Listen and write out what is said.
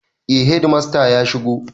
Eh hedimasta ya shigo.